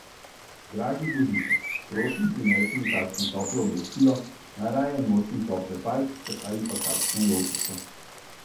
Dragi Božiček, prosim prinesi mi kakšno toplo oblačilo, najraje nosim tople pajkice ali pa kakšno jopico.